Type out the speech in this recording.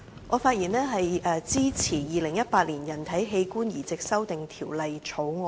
我發言支持《2018年人體器官移植條例草案》。